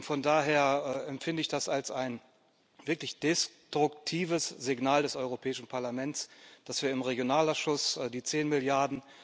Von daher empfinde ich das als ein wirklich destruktives Signal des Europäischen Parlaments, dass wir im Regionalausschuss die 10 Mrd.,